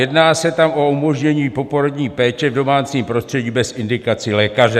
Jedná se tam o umožnění poporodní péče v domácím prostředí bez indikací lékaře.